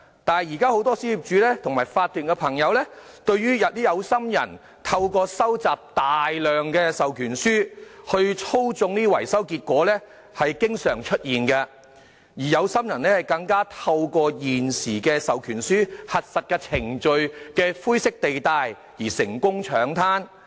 不過，很多小業主和法團朋友表示，現在有心人透過收集大量授權書來操縱招標結果的情況經常出現，而有心人更透過現時授權書核實程序的灰色地帶，得以成功搶灘。